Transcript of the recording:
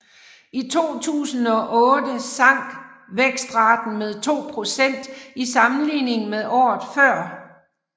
I 2008 sank vækstraten med 2 procent i sammenligning med året før